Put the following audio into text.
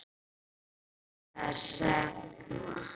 Inga Hrefna.